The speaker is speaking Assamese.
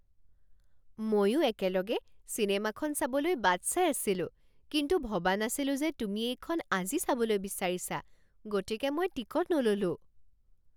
মইও একেলগে চিনেমাখন চাবলৈ বাট চাই আছিলোঁ, কিন্তু ভবা নাছিলো যে তুমি এইখন আজি চাবলৈ বিচাৰিছা, গতিকে মই টিকট নল'লো।